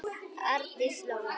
Arndís Lóa.